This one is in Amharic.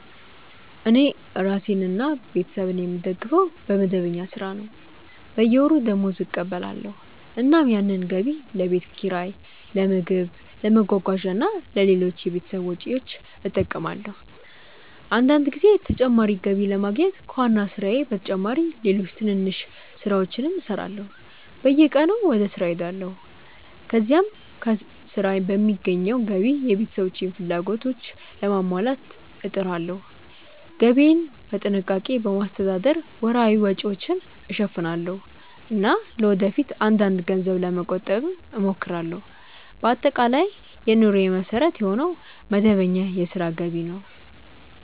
እኔ ራሴንና ቤተሰቤን የምደግፈው በመደበኛ ሥራ ነው። በየወሩ ደመወዝ እቀበላለሁ፣ እናም ያንን ገቢ ለቤት ኪራይ፣ ለምግብ፣ ለመጓጓዣ እና ለሌሎች የቤተሰብ ወጪዎች እጠቀማለሁ። አንዳንድ ጊዜ ተጨማሪ ገቢ ለማግኘት ከዋና ሥራዬ በተጨማሪ ሌሎች ትንንሽ ሥራዎችንም እሠራለሁ። በየቀኑ ወደ ሥራ እሄዳለሁ፣ ከዚያም ከሥራ በሚገኘው ገቢ የቤተሰቤን ፍላጎቶች ለማሟላት እጥራለሁ። ገቢዬን በጥንቃቄ በማስተዳደር ወርሃዊ ወጪዎችን እሸፍናለሁ እና ለወደፊት አንዳንድ ገንዘብ ለመቆጠብም እሞክራለሁ። በአጠቃላይ የኑሮዬ መሠረት የሆነው መደበኛ የሥራ ገቢ ነው።